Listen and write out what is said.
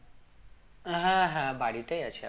হ্যাঁ হ্যাঁ বাড়িতেই আছে এখন